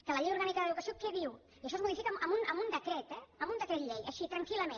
que la llei orgànica d’educació què diu i això es modifica amb un decret eh amb un decret llei així tranquil·lament